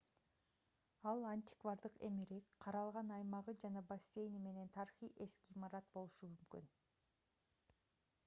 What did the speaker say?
ал антиквардык эмерек каралган аймагы жана бассейни менен тарыхый эски имарат болушу мүмкүн